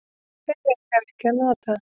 Þeir eiga ekki að nota